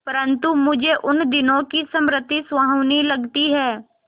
परंतु मुझे उन दिनों की स्मृति सुहावनी लगती है